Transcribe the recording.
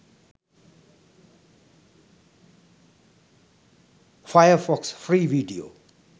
firefox free video